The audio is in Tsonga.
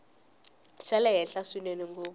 xa le henhla swinene ngopfu